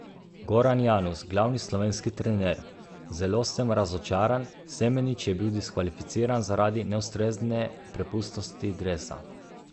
Goran Janus, glavni slovenski trener: "Zelo sem razočaran, Semenič je bil diskvalificiran zaradi neustrezne prepustnosti dresa.